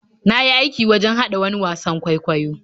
Na yi aikin wajen haɗa wani wasan kwaikwayo.